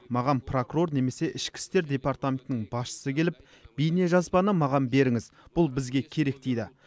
маған прокурор немесе ішкі істер департаментінің басшысы келіп бейнежазбаны маған беріңіз бұл бізге керек дейді